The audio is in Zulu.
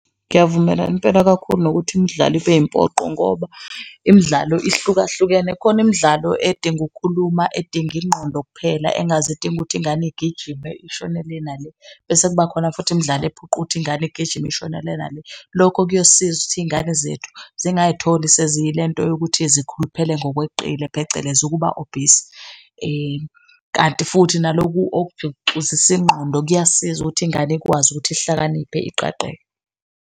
Ngiyavumelana impela kakhulu nokuthi imdlalo ibe impoqo ngoba imidlalo ihlukahlukene. Khona imidlalo edinga ukukhuluma, edinga ingqondo kuphela engaze idinge ukuthi ingane igijime ishone le na le, bese kuba khona futhi imidlalo ephoqa ukuthi ingane igijime ishona le na le. Lokho kuyosisiza ukuthi iy'ngane zethu zingayitholi seziyilento yokuthi zikhuluphele ngokweqela phecelezi ukuba obese. Kanti futhi nalokhu okujuxuzisa ingqondo, kuyasiza ukuthi ingane ikwazi ukuthi ihlakaniphe iqaqeke.